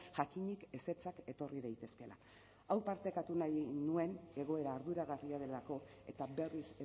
jakinik ezetzak etorri daitezkeela hau partekatu nahi nuen egoera arduragarria delako eta berriz